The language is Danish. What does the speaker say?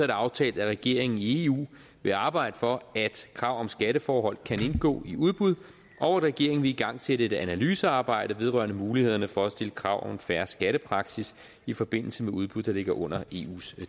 det aftalt at regeringen i eu vil arbejde for at krav om skatteforhold kan indgå i udbud og at regeringen vil igangsætte et analysearbejde vedrørende mulighederne for at stille krav om fair skattepraksis i forbindelse med udbud der ligger under eus